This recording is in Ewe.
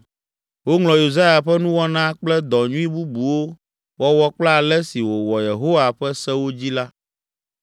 Woŋlɔ Yosia ƒe nuwɔna kple dɔ nyui bubuwo wɔwɔ kple ale si wòwɔ Yehowa ƒe sewo dzi la